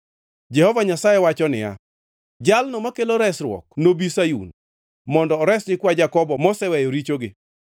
Jehova Nyasaye wacho niya, “Jalno makelo Resruok nobi Sayun, mondo ores nyikwa Jakobo moseweyo richogi.”